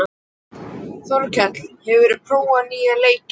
Þorkell, hefur þú prófað nýja leikinn?